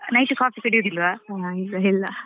Night coffee ಕುಡಿಯುದಿಲ್ವಾ.